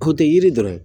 O tɛ yiri dɔrɔn